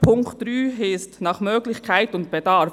Der Punkt 3 heisst «nach Möglichkeit und Bedarf».